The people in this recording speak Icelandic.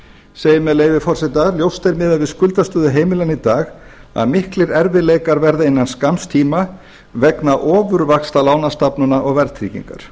segir með leyfi forseta ljóst er miðað við skuldastöðu heimilanna í dag að miklir erfiðleikar verða innan skamms tíma vegna ofurvaxta lánastofnana og verðtryggingar